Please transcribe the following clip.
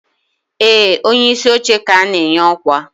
ee, onyeisi oche ka na-enye ọkwa.